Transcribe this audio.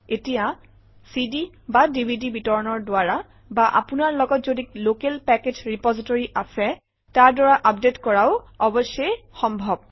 এতিয়া cdডিভিডি বিতৰণৰ দ্বাৰা বা আপোনাৰ লগত যদি লোকেল পেকেজ ৰেপজিটৰী আছে তাৰ দ্বাৰা আপডেট কৰাও অৱশ্যেই সম্ভৱ